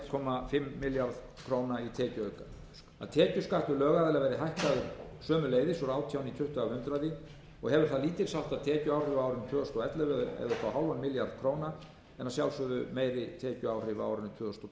komma fimm milljarða króna í tekjuauka tekjuskattur lögaðila verður hækkaður sömuleiðis úr átján í tuttugu af hundraði og hefur það lítils háttar tekjuáhrif á árinu tvö þúsund og ellefu það er upp á hálfum milljarða króna en að sjálfsögðu meiri tekjuáhrif á árinu tvö þúsund